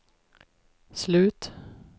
slut